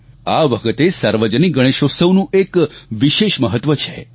આ વખતે સાર્વજનિક ગણેશોત્સવનું એક વિશેષ મહત્વ છે